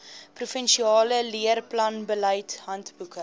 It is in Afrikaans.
provinsiale leerplanbeleid handboeke